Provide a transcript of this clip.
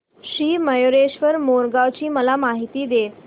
श्री मयूरेश्वर मोरगाव ची मला माहिती दे